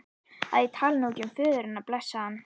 að ég tali nú ekki um föður hennar, blessaðan.